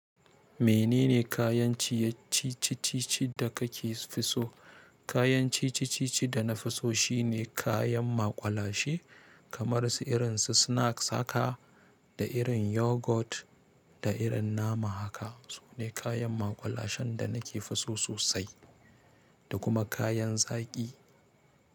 Menene kayan ciyacci-ciccici da kake so? Kayan ciccici-ciccici da na fi so shine kayan maƙwalashe, kamar su irin su snacks haka da irin yogurt da irin nama haka. Sune kayan maƙwalashen da nake so sosai. Da kuma kayan zaƙi.